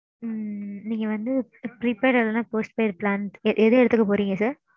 நீங்க வந்து prepaid and post paid plan எது எடுத்துக்க போறீங்க sir.